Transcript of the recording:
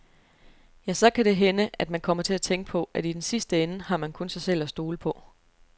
Ja, så kan det hænde at man kommer til at tænke på, at i den sidste ende har man kun sig selv at stole på.